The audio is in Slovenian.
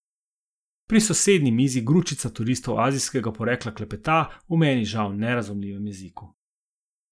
Pri sosednji mizi gručica turistov azijskega porekla klepeta v meni žal nerazumljivem jeziku.